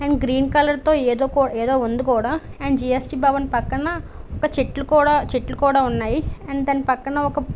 And green colour తో ఏదో కూడా ఏదో ఉంది కూడా. అండ్ జిఎస్టి భవన్ పక్కన ఒక చెట్లు కూడా ఉన్నాయి. అండ్ దాని పక్కన ఒక --